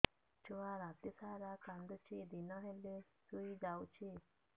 ଛୁଆ ରାତି ସାରା କାନ୍ଦୁଚି ଦିନ ହେଲେ ଶୁଇଯାଉଛି